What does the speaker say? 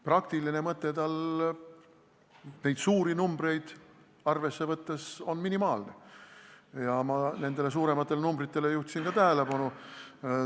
Praktiline mõte on neid suuri numbreid arvesse võttes minimaalne ja ma nendele suurematele numbritele juhtisin ka tähelepanu.